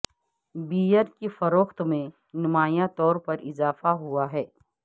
beer کی فروخت میں نمایاں طور پر اضافہ ہوا ہے